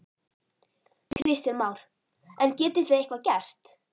Kristján Már: En getið þið eitthvað gert?